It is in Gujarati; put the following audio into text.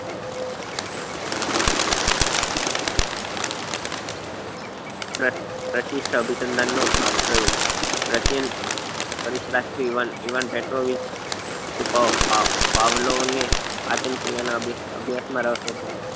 પ્રસ પ્રશિષ્ઠ અભીસ્સંધન નો પ્રયોગ પ્રશીલ પાવ પાવ પાવલો ને પાચન ક્રિયા નાં અભ્યાસ માં રસ હતો